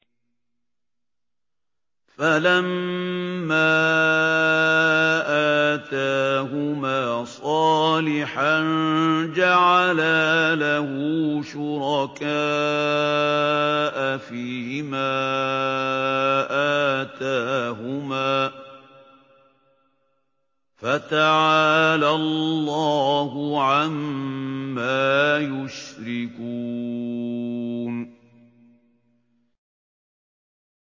فَلَمَّا آتَاهُمَا صَالِحًا جَعَلَا لَهُ شُرَكَاءَ فِيمَا آتَاهُمَا ۚ فَتَعَالَى اللَّهُ عَمَّا يُشْرِكُونَ